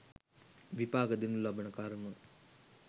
විපාක දෙනු ලබන කර්ම